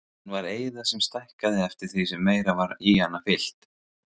Hún var eyða sem stækkaði eftir því sem meira var í hana fyllt.